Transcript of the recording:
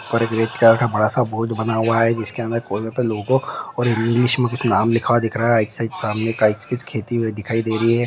बड़ा सा बोर्ड बना हुआ जिसकी हमे लोग और इंग्लिश में कुछ नाम लिखा हुआ दिख रहा हे एक साइड खेती दिखाई दे रही है।